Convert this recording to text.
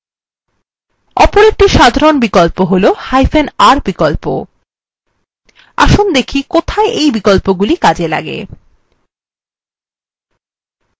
অপর একটি সাধারণ বিকল্প হলr বিকল্প আসুন দেখি কোথায় এই বিকল্পগুলি কাজে লাগে